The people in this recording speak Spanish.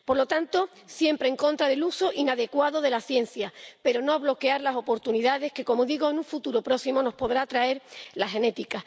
Por lo tanto, siempre en contra del uso inadecuado de la ciencia, pero no de bloquear las oportunidades que, como digo, en un futuro próximo nos podrá traer la genética.